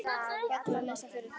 Bara til að lesa fyrir þau.